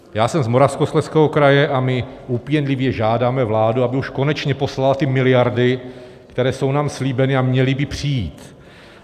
Já jsem z Moravskoslezského kraje a my úpěnlivě žádáme vládu, aby už konečně poslala ty miliardy, které jsou nám slíbeny a měly by přijít.